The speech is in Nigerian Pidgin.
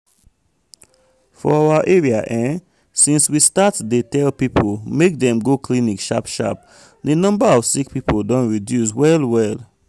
for our area[um]since we start dey tell people make dem go clinic sharp sharp di number of sick people don reduce well well.